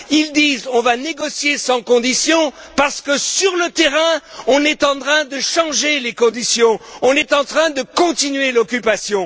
Ils disent On va négocier sans condition parce que, sur le terrain, on est en train de changer les conditions, on est en train de continuer l'occupation.